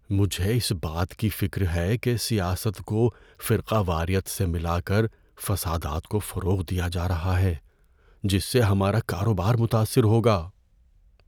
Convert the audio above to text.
مجھے اس بات کی فکر ہے کہ سیاست کو فرقہ واریت سے ملا کر فسادات کو فروغ دیا جا رہا ہے جس سے ہمارا کاروبار متاثر ہوگا۔